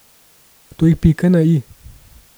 To je pika na i.